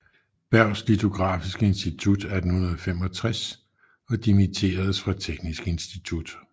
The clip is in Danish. Berghs litografiske Institut 1865 og dimitteredes fra Teknisk Institut